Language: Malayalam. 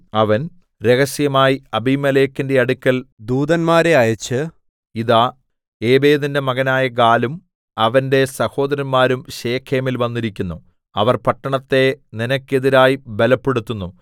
അവൻ രഹസ്യമായി അബീമേലെക്കിന്റെ അടുക്കൽ ദൂതന്മാരെ അയച്ച് ഇതാ ഏബേദിന്റെ മകനായ ഗാലും അവന്റെ സഹോദരന്മാരും ശെഖേമിൽ വന്നിരിക്കുന്നു അവർ പട്ടണത്തെ നിനക്കെതിരായി ബലപ്പെടുത്തുന്നു